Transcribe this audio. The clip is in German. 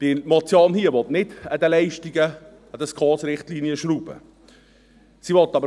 Denn diese Motion will nicht an den Leistungen, an den Richtlinien der Schweizerischen Konferenz für Sozialhilfe (SKOS) schrauben.